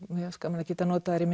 mér fannst gaman að geta notað þær í